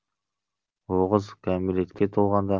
оғыз кәмелетке толғанда